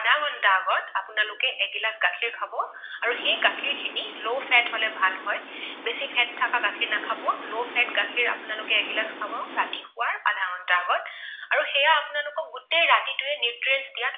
দুঘণ্টা আগত আপোনালোকে এগিলাচ গাখীৰ খাব আৰু সেই গাখীৰ খিনি low fat হলে ভাল হয়। বেছি fat থকা গাখীৰ নাখাব, low fat গাখীৰ আপোনালোকে এগিলাচ খাব। ৰাতি শুৱাৰ আধাঘণ্টা আগত আৰু সেয়া আপোনালোকক গোটেই ৰাতিটোৱে nutrition দিয়াত